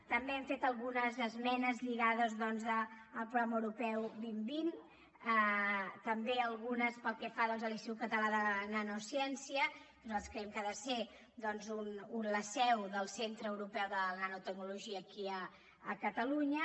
també hem fet algunes esmenes lligades doncs al programa europeu dos mil vint també algunes pel que fa a l’institut català de la nanociència que nosaltres creiem que ha de ser la seu del centre europeu de la nanotecnologia aquí a catalunya